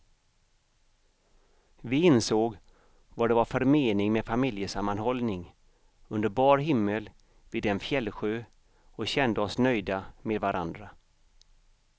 Vi insåg vad det är för mening med familjesammanhållning under bar himmel vid en fjällsjö och kände oss nöjda med varandra.